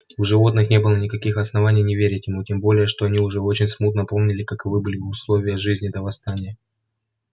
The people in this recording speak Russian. у животных не было никаких оснований не верить ему тем более что они уже очень смутно помнили каковы были условия жизни до восстания